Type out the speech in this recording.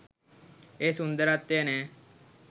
ඒ සුන්දරත්වය නෑ